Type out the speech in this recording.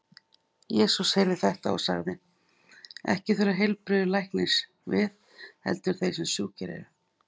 Jesús heyrði þetta og sagði: Ekki þurfa heilbrigðir læknis við, heldur þeir sem sjúkir eru.